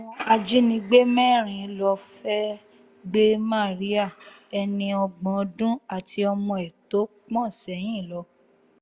àwọn ajínigbé mẹ́rin ló fẹ́ẹ́ gbé màríà ẹni ọgbọ̀n ọdún àti ọmọ ẹ̀ tó pọ́n sẹ́yìn lọ